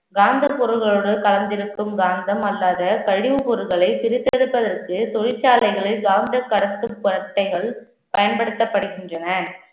காந்த பொருள்களோடு கலந்து இருக்கும் காந்தம் அல்லது கழிவுப் பொருட்களை பிரித்தெடுப்பதற்கு தொழிற்சாலைகளை காந்த பயன்படுத்தப்படுகின்றன